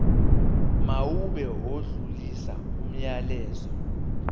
mawube odlulisa umyalezo